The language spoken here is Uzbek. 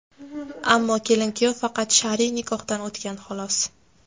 Ammo kelin-kuyov faqat shar’iy nikohdan o‘tgan, xolos.